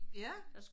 Ja